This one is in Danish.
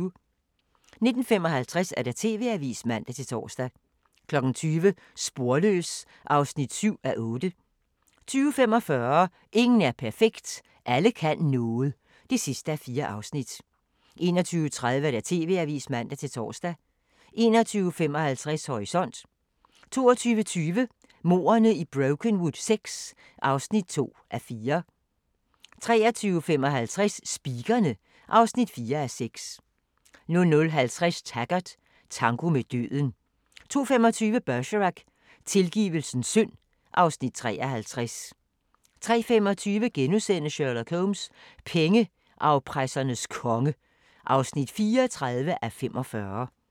19:55: TV-avisen (man-tor) 20:00: Sporløs (7:8) 20:45: Ingen er perfekt – Alle kan noget (4:4) 21:30: TV-avisen (man-tor) 21:55: Horisont 22:20: Mordene i Brokenwood VI (2:4) 23:55: Speakerine (4:6) 00:50: Taggart: Tango med døden 02:25: Bergerac: Tilgivelsens synd (Afs. 53) 03:25: Sherlock Holmes: Pengeafpressernes konge (34:45)*